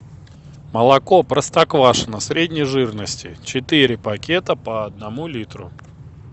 молоко простоквашино средней жирности четыре пакета по одному литру